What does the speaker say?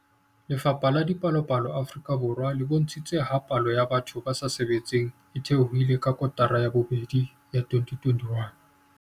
Lefapha la Dipalopalo Afrika Borwa le bontshitse ha palo ya batho ba sa sebetseng e theohile ka kotara ya bobedi ya 2021.